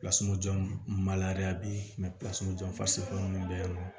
maliya be yen minnu bɛ yen nɔ